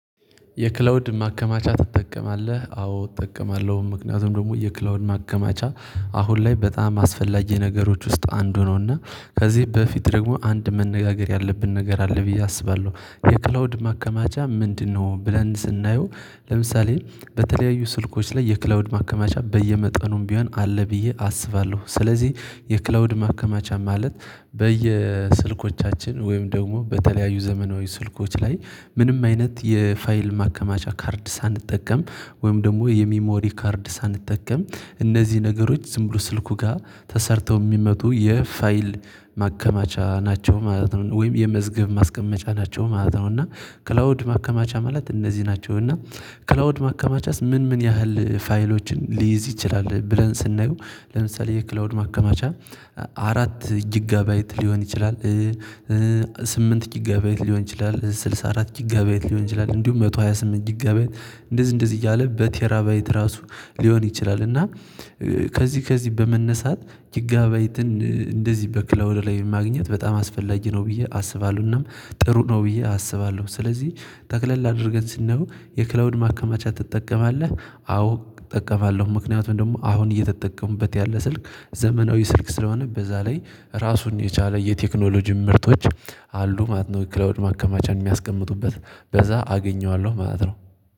የክላውድ ማከማቻ ትጠቀማለህ? አዎ እጠቀማለሁ ምክንያቱም ደግሞ የክላውድ ማከማቻ አሁን ላይ በጣም አስፈላጊ ነገሮች ውስጥ አንዱ ነውና። ከዚህ በፊት ደግሞ አንድ መነጋገር ያለብን ነገር አለ ብዬ አስባለሁ። የክላውድ ማከማቻ ምንድነው? ብለን ስናየው ለምሳሌ በተለያዩ ስልኮች ላይ የክላውድ ማከማቻ በየመጠኑም ቢሆን አለ ብዬ አስባለሁ። ስለዚህ የክላውድ ማከማቻ ማለት በየስልኮቻችን ወይም ደግሞ በተለያዩ ዘመናዊ ስልኮች ላይ ምንም አይነት የፋይል ማከማቻ ካርድ ሳንጠቀም ወይም ደግሞ የሚሞሪ ካርድ ሳንጠቀም እነዚህ ነገሮች ዝም ብሎ ስልኩ ጋር ተሰርተው የሚመጡ የፋይል ማከማቻ ናቸው። ማለት ነው ወይም የመዝገብ ማስቀመጫ ናቸው ማለት ነው። እና ክላውድ ማከማቻ ማለት እነዚህ ናቸው። እና ክላውድ ማከማቻስ ምን ምን ያህል ፋይሎችን ሊይዝ ይችላል? ብለን ስናየው ለምሳሌ የክላውድ ማከማቻ። አራት ጊጋ ባይት ሊሆን ይችላል። ስምንት ጊጋ ባይት ሊሆን ይችላል ስልሳ አራት ጊጋ ባይት ሊሆን ይችላል እንዲሁም መቶ ሃያ ስምንት ጊጋ ባይት። እንደዚህ እንደዚህ እያለ በቴራ ባይት እራሱ ሊሆን ይችላል። እና ከዚህ ከዚህ በመነሳት ጊጋ ባይትን እንደዚህ በክላዉድ ላይ ማግኘት በጣም አስፈላጊ ነው ብዬ አስባለሁ። እና ጥሩ ነው ብዬ አስባለሁ። ስለዚህ ጠቅለል አድርገን ስነየው የክላውድ ማከማቻ ትጠቀማለህ? አዎ እጠቀማለሁ። ምክንያቱም ደግሞ አሁን እየተጠቀምኩበት ያለ ስልክ ዘመናዊ ስልክ ስለሆነ በዛ ላይ ራሱን የቻለ የቴክኖሎጂ ምርቶች አሉ ማለት ነው። ክላውድ ማከማቻን የሚያስቀምጡበት በዛ አገኘዋለሁ ማለት ነው።